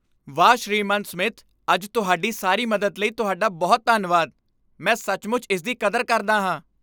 ਵਾਹ, ਸ੍ਰੀਮਾਨ ਸਮਿਥ, ਅੱਜ ਤੁਹਾਡੀ ਸਾਰੀ ਮਦਦ ਲਈ ਤੁਹਾਡਾ ਬਹੁਤ ਧੰਨਵਾਦ। ਮੈਂ ਸੱਚਮੁੱਚ ਇਸ ਦੀ ਕਦਰ ਕਰਦਾ ਹਾਂ!